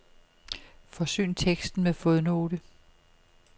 Forsyn teksten med fodnote.